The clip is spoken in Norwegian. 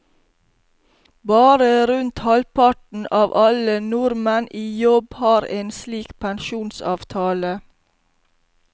Bare rundt halvparten av alle nordmenn i jobb har en slik pensjonsavtale.